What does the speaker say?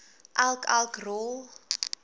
elk elk rol